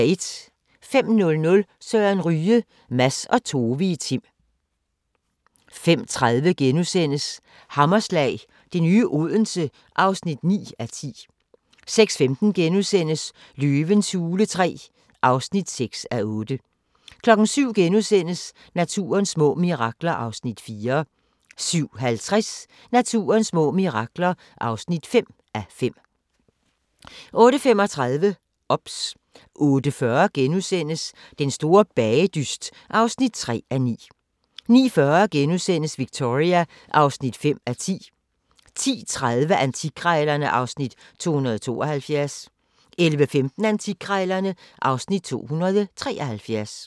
05:00: Søren Ryge – Mads og Tove i Tim 05:30: Hammerslag - det nye Odense (9:10)* 06:15: Løvens hule III (6:8)* 07:00: Naturens små mirakler (4:5)* 07:50: Naturens små mirakler (5:5) 08:35: OBS 08:40: Den store bagedyst (3:9)* 09:40: Victoria (5:10)* 10:30: Antikkrejlerne (Afs. 272) 11:15: Antikkrejlerne (Afs. 273)